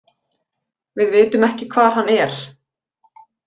Við vitum ekki hvar hann er.